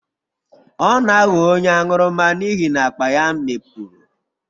Ọ na-aghọ onye aṅụrụma n'ihi na akpa ya mikpuru.